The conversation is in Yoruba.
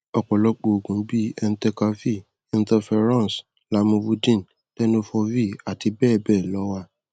ọpọlọpọ òògùn bí i entecavir interferons lamivudine tenofovir àti bẹẹ bẹẹ lọ ló wà